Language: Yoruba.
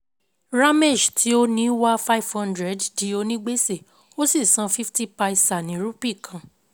Ramesh tí ó ní wà five hundred di ònígbèsè ó sì sàn fifty paisa ní rupee kan